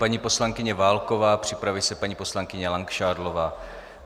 Paní poslankyně Válková, připraví se paní poslankyně Langšádlová.